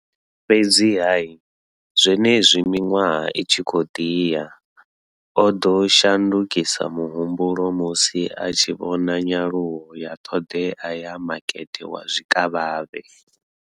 Fhedziha, zwenezwi miṅwaha i tshi khou ḓi ya, o ḓo shandukisa muhumbulo musi a tshi vhona nyaluwo ya ṱhoḓea ya makete wa zwikavhavhe.